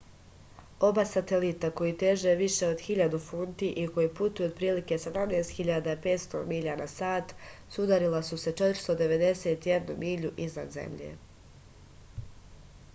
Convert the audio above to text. oba satelita koji teže više od 1000 funti i koji putuju otprilike 17.500 milja na sat sudarila su se 491 milju iznad zemlje